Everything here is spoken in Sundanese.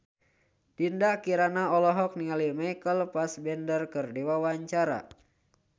Dinda Kirana olohok ningali Michael Fassbender keur diwawancara